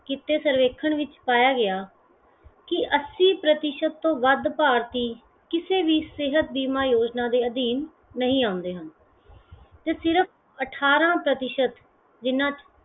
ਕੀਤਾ ਸਰਵੇਖਣ ਵਿਚ ਪਾਇਆ ਗਿਆ ਕੇ ਅੱਸੀ ਪ੍ਰਤੀਸ਼ਤ ਤੋਂ ਵੱਧ ਭਾਰਤੀ ਕਿਸੇ ਵੀ ਸਿਹਤ ਬੀਮਾ ਯੋਜਨਾ ਅਧੀਨ ਨਹੀਂ ਆਉਂਦੇ ਹਨ ਤੇ ਸਿਰਫ ਅਠਾਰਾਂ ਪ੍ਰਤੀਸ਼ਤ ਜਿਹਨਾਂ ਚ